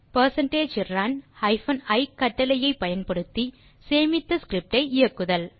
percentage run hyphen e கட்டளையை பயன்படுத்தி சேமித்த ஸ்கிரிப்ட் ஐ இயக்குதல்